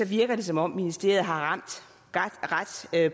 virker det som om ministeriet har ramt ret